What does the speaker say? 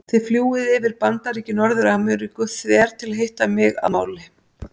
Þið fljúgið yfir Bandaríki Norður-Ameríku þver til að hitta mig að máli.